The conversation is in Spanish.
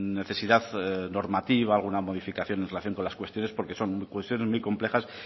necesidad normativa alguna modificación en relación con las cuestiones porque son cuestiones muy complejas